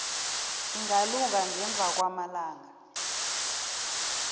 ingalunga ngemva kwamalanga